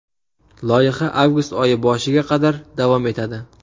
Loyiha avgust oyi boshiga qadar davom etadi.